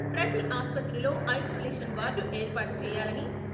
ప్రతి ఆసుపత్రిలో isolation ward ఏర్పాటు చేయాలని..